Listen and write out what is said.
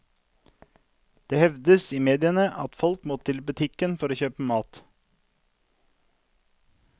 Det hevdes i mediene at folk må til butikken for å kjøpe mat.